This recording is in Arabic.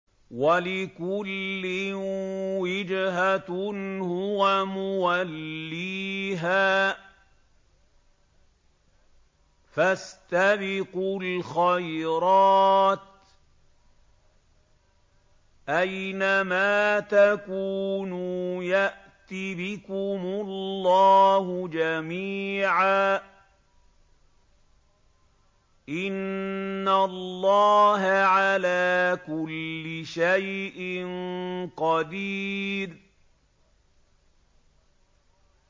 وَلِكُلٍّ وِجْهَةٌ هُوَ مُوَلِّيهَا ۖ فَاسْتَبِقُوا الْخَيْرَاتِ ۚ أَيْنَ مَا تَكُونُوا يَأْتِ بِكُمُ اللَّهُ جَمِيعًا ۚ إِنَّ اللَّهَ عَلَىٰ كُلِّ شَيْءٍ قَدِيرٌ